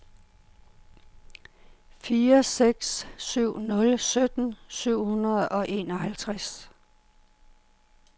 fire seks syv nul sytten syv hundrede og enoghalvtreds